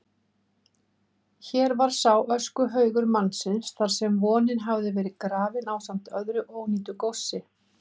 Hér var sá öskuhaugur mannlífsins þarsem vonin hafði verið grafin ásamt með öðru ónýtu góssi.